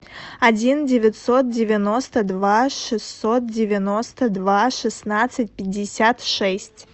один девятьсот девяносто два шестьсот девяносто два шестнадцать пятьдесят шесть